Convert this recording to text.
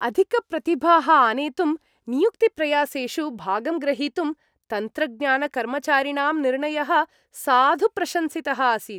अधिकप्रतिभाः आनेतुं नियुक्तिप्रयासेषु भागं ग्रहीतुं तन्त्रज्ञानकर्मचारिणां निर्णयः साधु प्रशंसितः आसीत्।